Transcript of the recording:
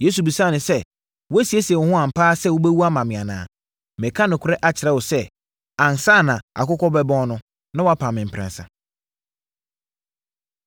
Yesu bisaa no sɛ, “Woasiesie wo ho ampa ara sɛ wobɛwu ama me anaa? Mereka nokorɛ akyerɛ wo sɛ, ansa na akokɔ bɛbɔn no, na woapa me mprɛnsa.”